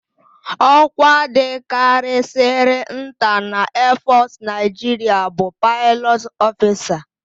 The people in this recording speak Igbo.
Ọ́kwá dịkarịsịrị nta na eefọsụ Naịjiria bụ Paịlọt ọfisa.